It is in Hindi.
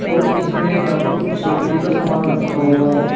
और इसमें एक यहां पर कुछ लकड़ी का सामान रखा हुआ है।